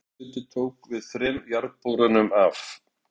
Rafmagnseftirlitið tók við þremur jarðborum af